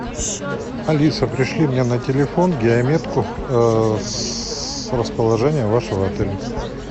алиса пришли мне на телефон геометку с расположением вашего отеля